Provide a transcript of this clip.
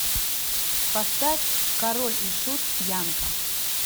поставь король и шут пьянка